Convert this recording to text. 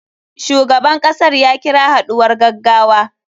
Shugaban kasar ya kira haɗuwar gaggawa.